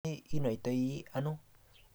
inye inaitai ano